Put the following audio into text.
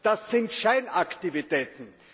Das sind Scheinaktivitäten.